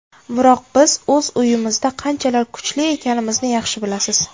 Biroq biz o‘z uyimizda qanchalar kuchli ekanimizni yaxshi bilasiz.